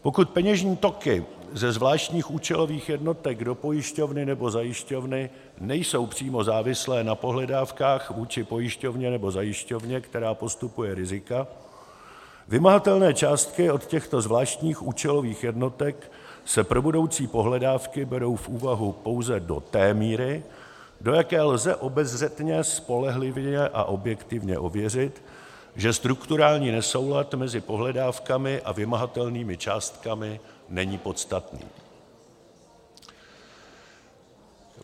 Pokud peněžní toky ze zvláštních účelových jednotek do pojišťovny nebo zajišťovny nejsou přímo závislé na pohledávkách vůči pojišťovně nebo zajišťovně, která postupuje rizika, vymahatelné částky od těchto zvláštních účelových jednotek se pro budoucí pohledávky berou v úvahu pouze do té míry, do jaké lze obezřetně, spolehlivě a objektivně ověřit, že strukturální nesoulad mezi pohledávkami a vymahatelnými částkami není podstatný.